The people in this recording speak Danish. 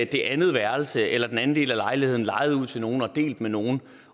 det andet værelse eller den anden del af lejligheden lejet ud til nogle og delt med nogle